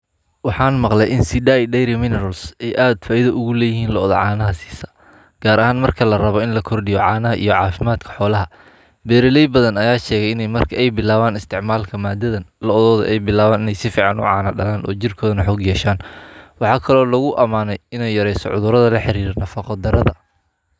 Waxaan maqle in sidai dairy minerals ey aad faaidha uguleedhahy looda caanaha siisa gaar ahaan marka larabo in lakordiyo caanaha iyo caafimadka xoolaha. Beraley badha ayaa sheege in ey marki ey bilaaben isticmalka maadadhan lodhodho in ey bilaaban in ey sifcan ucaana dalaan oo jirkooda neh xoog yehsaan. Waxaa kel oo laguamaaney in ey yareeso cudhuradha laxiriiro nafaqo darada.